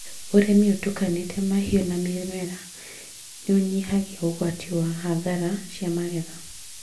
ũrĩmi ũtukanĩte mahiũ na mĩmera nĩũnyihagia ũgwati wa hathara cia magetha